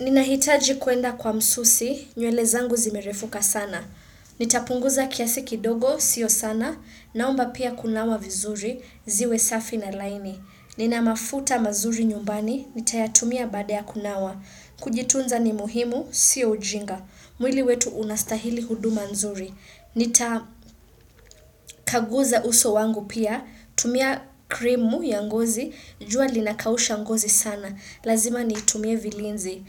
Ninahitaji kuenda kwa msusi, nywele zangu zimerefuka sana. Nitapunguza kiasi kidogo, sio sana, naomba pia kunawa vizuri, ziwe safi na laini. Ninamafuta mazuri nyumbani, nitayatumia baada ya kunawa. Kujitunza ni muhimu, sio ujinga. Mwili wetu unastahili huduma nzuri. Nitakaguza uso wangu pia, tumia krimu ya ngozi, jua linakausha ngozi sana. Lazima nitumie vilinzi.